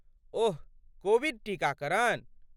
ओह, Covid टीकाकरण?